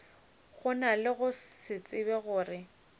gona go se tsebe gore